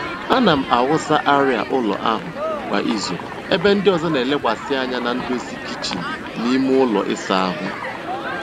Ana m awụsa arịa ụlọ ahụ kwa izu ebe ndị ọzọ na-elekwasị anya na ndozi kichin na ime ụlọ ịsa ahụ.